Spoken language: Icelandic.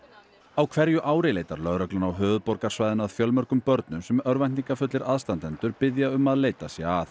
á hverju ári leitar lögreglan á höfuðborgarsvæðinu að fjölmörgum börnum sem örvæntingarfullir aðstandendur biðja um að leitað sé að